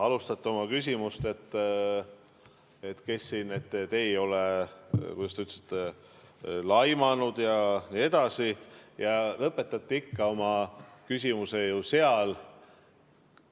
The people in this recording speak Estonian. Alustasite oma küsimust, et te ei ole, kuidas te ütlesite, laimanud jne, ja lõpetasite oma küsimuse ju ikka seal.